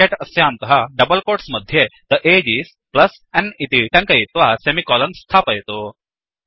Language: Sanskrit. ब्रेकेट् अस्यान्तः डबल् कोट्स् मध्ये थे अगे इस् n इति टङ्कयित्वा सेमिकोलन् स्थापयतु